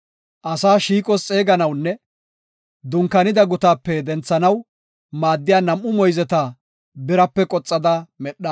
asaa shiiqos xeeganawunne dunkaanida gutaape denthanaw maaddiya nam7u moyzeta birape qoxada medha.